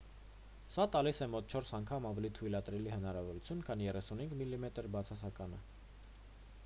սա տալիս է մոտ չորս անգամ ավելի թույլատրելի հնարավորություն քան 35 մմ բացասականը 3136 մմ2-ն ընդդեմ 864-ի: